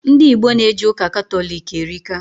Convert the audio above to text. Ndị Igbo na eje ụka Katọlik erika